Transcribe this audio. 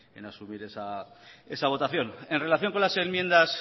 en asumir esa votación en relación con las enmiendas